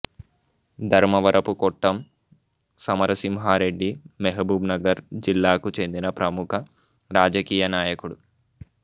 ధర్మవరపు కొట్టం సమరసింహారెడ్డి మహబూబ్ నగర్ జిల్లాకు చెందిన ప్రముఖ రాజకీయనాయకుడు